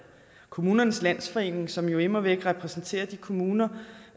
kommunernes landsforening som jo immer væk repræsenterer de kommuner